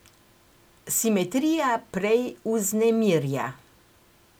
Simetrija prej vznemirja.